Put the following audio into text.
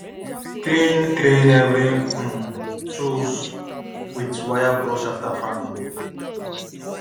clean clean every um tool with wire brush after farming